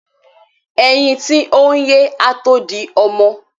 Ẹyin tí oyín ye á tó di ọmọ.